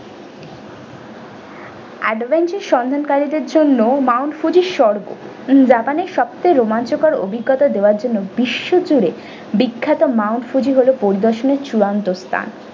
adventure সন্ধানকারীদের জন্য mount fuji স্বর্গ japan এর সব থেকে রোমাঞ্চকর অভিজ্ঞতা দেবার জন্য বিশ্ব জুড়ে বিখ্যাত mount fuji হলো পরিদর্শনের চুড়ান্ত স্থান।